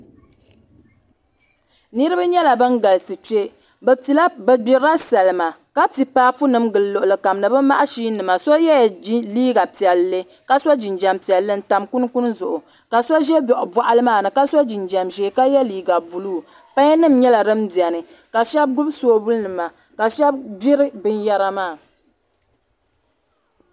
Niriba yɛla ba. galisi kpɛ bi yɛla bani gbiri salima ka pi paapu nim n gili luɣuli kam ni bi maɣazini nima ka so jinjam piɛlli n ta kunkukni zuɣu ka so zɛ bɔɣili maa ni ka so jinjam zɛɛ ka yiɛ liiga buluu paiyi nim yɛla dini bɛni ka shɛba gbubi soobuli nima ka shɛba gbiri bini yara maa.